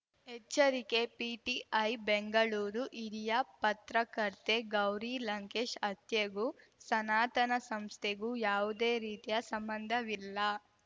ಎಚ್ಚರಿಕೆ ಪಿಟಿಐ ಬೆಂಗಳೂರು ಹಿರಿಯ ಪತ್ರಕರ್ತೆ ಗೌರಿ ಲಂಕೇಶ್‌ ಹತ್ಯೆಗೂ ಸನಾತನ ಸಂಸ್ಥೆಗೂ ಯಾವುದೇ ರೀತಿಯ ಸಂಬಂಧವಿಲ್ಲ